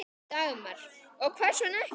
Dagmar: Og hvers vegna ekki?